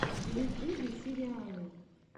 в ютюбе сериалы